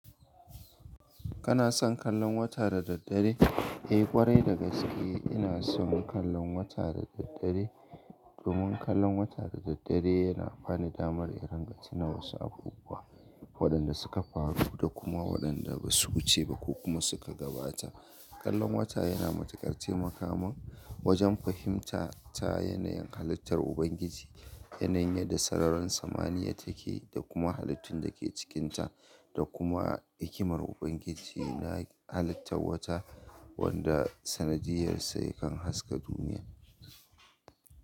Kana son kallon wata da daddare? Eh, kwarai da gaske ina son kallon wata da daddare domin kallon wata da daddare yana bani damar in ringa tuna wa su abubuwa waɗanda suka faru da kuma waɗanda ba su wuce ba ko kuma suka gabata. Kallon wata yana matuƙar taimaka mun wajen fahimta ta yanayin halittar Ubangiji, yanayin yadda sararin samaniya take da kuma halittun da ke cikinta da kuma hikimar Ubangiji na halittar wata wanda sanadiyyarsa yakan haska duniya.